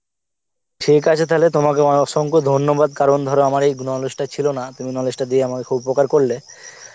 ঠিক আছে তাহলে তোমাকে আ~ অসংখ্য ধন্যবাদ কারণ ধর আমার এই knowledge টা ছিল না তুমি knowledge টা দিয়ে আমাকে খুব উপকার করলে